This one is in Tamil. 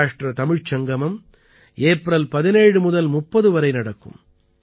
சௌராஷ்ட்ர தமிழ்ச் சங்கமம் ஏப்ரல் 17 முதல் 30 வரை நடக்கும்